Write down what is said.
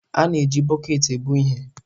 A na-eji bọket ebu ihe.